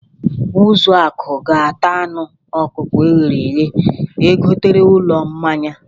Ụzọakụ ga-ata anụ ọkụkọ e ghere eghe e gotere n'ụlọ mmanya.